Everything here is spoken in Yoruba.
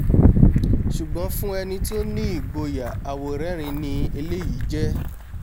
ṣùgbọ́n fún ẹni tí ó ní ìgboyà àwòrẹ́rìín ni eléyìí jẹ́